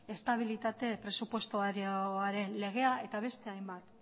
estabilitate presupuestarioaren legea eta beste hainbat